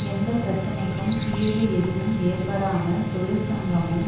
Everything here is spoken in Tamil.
எந்த பிரச்சனைக்கும் தீர்வு எதுவும் ஏற்படாமல் தொழிற்சங்கமும்